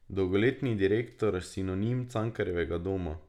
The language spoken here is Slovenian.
Dolgoletni direktor, sinonim Cankarjevega doma.